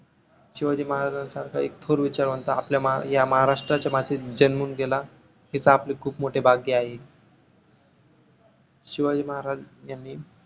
शिवाजी महाराज यांनी शिवाजी महाराजांसारखं एक थोर विचारवंत आपल्या ह्या महाराष्ट्राच्या मातीत जन्मून गेला, हेच आपले खूप मोठे भाग्य आहे. शिवाजी महाराज यांनी